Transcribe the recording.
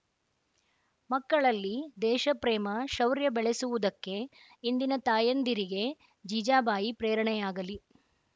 ಮಕ್ಕಳಲ್ಲಿ ದೇಶಪ್ರೇಮ ಶೌರ‍್ಯ ಬೆಳೆಸುವುದಕ್ಕೆ ಇಂದಿನ ತಾಯಂದಿರಿಗೆ ಜೀಜಾಬಾಯಿ ಪ್ರೇರಣೆಯಾಗಲಿ